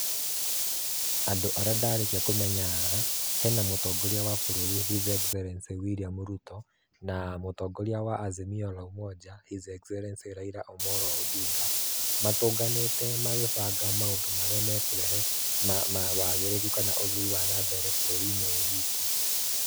Andũ arĩa ndarĩkia kũmenya haha, hena mũtongoria wa bũrũri his excellency William Ruto na mũtongoria wa Azimio la Umoja his excellency Raila Omolo Ondinga. Matũnganĩte magĩbanga maũndũ marĩa mekũrehe ma ma wagĩrĩru kana ma ũthii wa na mbere bũrũri-inĩ ũyũ witũ.